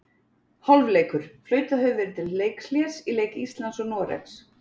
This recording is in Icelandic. Hálfleikur: Flautað hefur verið til leikhlés í leik Íslands og Noregs.